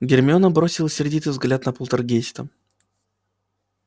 гермиона бросила сердитый взгляд на полтергейста